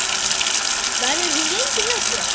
Verður hún lengi hjá þér?